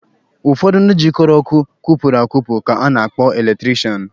Ụfọdụ ndị jịkọrọ ọkụ kwụpụrụ akwụpụ ka a na-akpọ eletirishanụ.